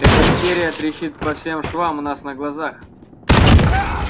эта империя трещит по всем швам у нас на глазах